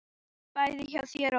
Bæði hjá þér og okkur.